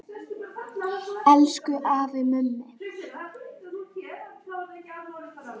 Elsku afi Mummi.